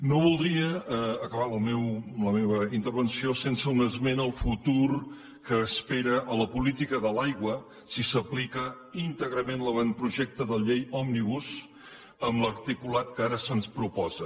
no voldria acabar la meva intervenció sense un esment al futur que espera a la política de l’aigua si s’aplica íntegrament l’avantprojecte de llei òmnibus amb l’articulat que ara se’ns proposa